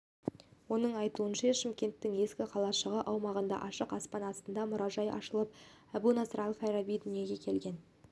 оның айтуынша шымкенттің ескі қалашығы аумағында ашық аспан астындағы мұражай ашылып әбу насыр әл-фараби дүниеге келген